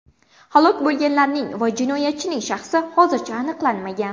Halok bo‘lganlarning va jinoyatchining shaxsi hozircha aniqlanmagan.